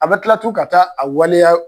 A bɛ kila tun ka taa a waleya.